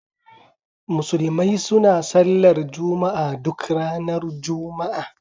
Musulmai suna Sallar Juma'a duk ranar Juma'a.